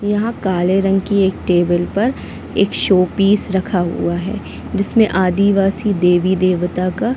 यहाँ काले रंग की एक टेबल पर एक शो पीस रखा हुआ है जिसमे आदिवासी देवी-देवता का--